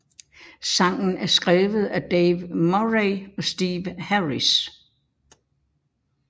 Sangen er skrevet af Dave Murray og Steve Harris